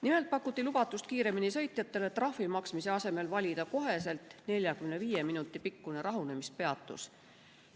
Nimelt pakuti lubatust kiiremini sõitjatele trahvi maksmise asemel valida kohe 45 minuti pikkune rahunemispeatus.